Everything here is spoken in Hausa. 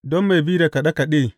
Don mai bi da kaɗe kaɗe.